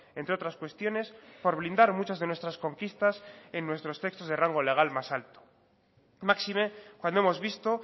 entre otras cuestiones por blindar muchas de nuestras conquistas en nuestros textos de rango legal más alto máxime cuando hemos visto